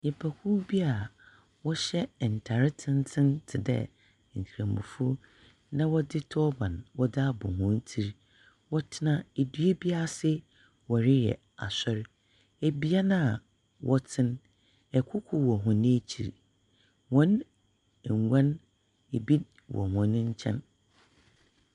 Nyipa kuw bi aa wɔhyɛ ntare tenten tedɛɛ kremofo na wɔdze tɔɔban wɔde abɔ wɔn tir. Wɔtena edua bi ase wɔreyɛ asɔre. Ebea na wɔte no ɛkuku wɔ wɔn akyir, wɔn ngwa no ebi wɔ wɔn nkyɛn.